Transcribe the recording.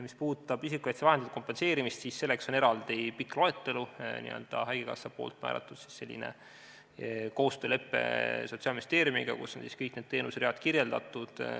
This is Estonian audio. Mis puudutab isikukaitsevahendite kompenseerimist, siis selleks on eraldi pikk loetelu, mis haigekassa on määranud, on koostöölepe Sotsiaalministeeriumiga, kus on kõik need teenuseread kirjeldatud.